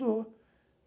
Sou.